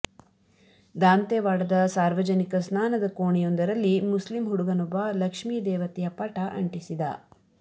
ದಾಂತೆವಾಡದ ಸಾರ್ವಜನಿಕ ಸ್ನಾನದ ಕೋಣೆಯೊಂದರಲ್ಲಿ ಮುಸ್ಲಿಂ ಹುಡುಗನೊಬ್ಬ ಲಕ್ಷ್ಮೀ ದೇವತೆಯ ಪಟ ಅಂಟಿಸಿದ